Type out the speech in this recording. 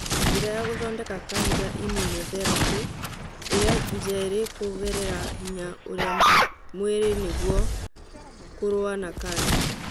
Njĩra ya gũthondeka kanja imũnotherapĩ ĩrĩa njerĩ kũgerera hinya ũrĩa mwĩrĩ nĩguo kũrũa na kanja